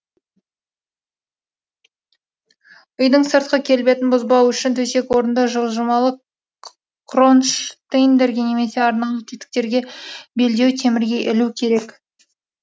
үйдің сыртқы келбетін бұзбау үшін төсек орынды жылжымалы кронштейндерге немесе арнаулы тетіктерге белдеу темірге ілу керек